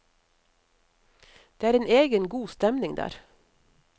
Det er en egen, god stemning der.